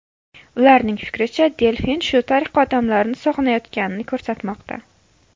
Ularning fikricha, delfin shu tariqa odamlarni sog‘inayotganini ko‘rsatmoqda.